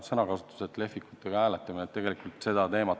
Nii et lehvikutega hääletamine – hea sõnakasutus!